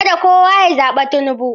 Kada kowa ya zaɓi Tinubu.